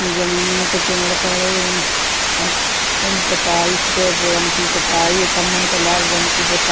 जमीन में के पेड़ खड़े हैं। अ पुताई सफेद रंग की पुताई खंभन पे लाल रंग की पुता --